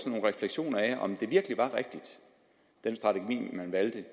nogle refleksioner af om den strategi man valgte